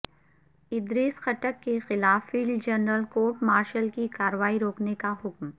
ادریس خٹک کے خلاف field general court martial کی کارروائی روکنے کا حکم